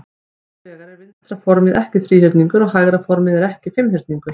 Hins vegar er vinstra formið ekki þríhyrningur og hægra formið er ekki fimmhyrningur.